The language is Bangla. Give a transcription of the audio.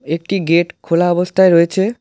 একটি গেট খোলা অবস্থায় রয়েছে।